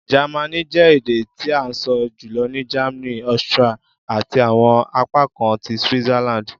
Jẹmánì jẹ ede ti a sọ julọ ni Germany, Austria, ati awọn apakan ti Switzerland.